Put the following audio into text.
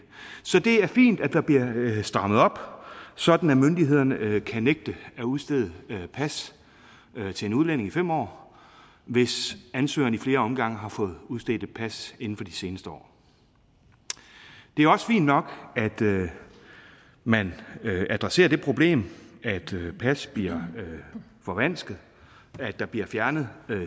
så det er fint at der bliver strammet op sådan at myndighederne kan nægte at udstede pas til en udlænding i fem år hvis ansøgeren i flere omgange har fået udstedt et pas inden for de seneste år det er også fint nok at man man adresserer det problem at pas bliver forvansket at der bliver fjernet